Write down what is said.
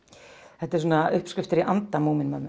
þetta eru svona uppskriftir í anda